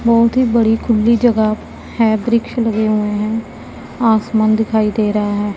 बहुत ही बड़ी खुली जगह है वृक्ष लगे हुए हैं आसमान दिखाई दे रहा है।